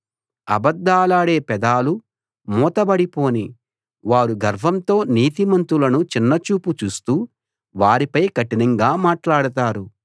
అబద్ధాలాడే పెదాలు మూతబడి పోనీ వారు గర్వంతో నీతిమంతులను చిన్నచూపు చూస్తూ వారిపై కఠినంగా మాట్లాడతారు